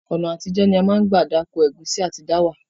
Ọ̀nà àtijọ́ ni a ma n gbà dáko ẹ̀gúnsí àtí dáwà